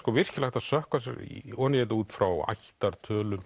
virkilega hægt að sökkva sér ofan í þetta út frá